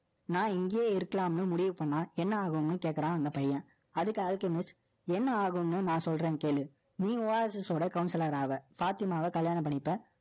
நான் இங்கேயே இருக்கலாம்னு முடிவு பண்ணா, என்ன ஆகும்னு கேக்கறான் அந்த பையன். அதுக்கு என்ன ஆகும்னு நான் சொல்றேன் கேளு. நீ Oasis ஓட counselor ஆவ. பாத்திமாவ கல்யாணம் பண்ணிப்ப.